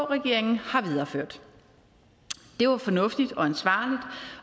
regeringen har videreført det var fornuftigt